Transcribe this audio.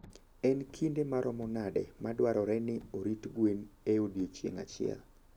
En kinde maromo nade madwarore ni orit gwen e odiechieng' achiel?